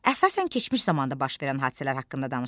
Əsasən keçmiş zamanda baş verən hadisələr haqqında danışılır.